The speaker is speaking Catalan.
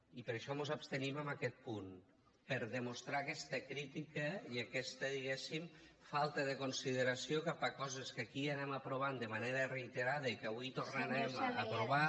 i per això mos abstenim en aquest punt per demostrar aquesta crítica i aquesta diguéssim falta de consideració cap a coses que aquí anem aprovant de manera reiterada i que avui tornarem a aprovar